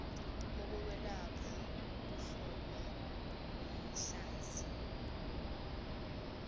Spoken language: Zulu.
okokwelapha kuhlolwe kwidlanzi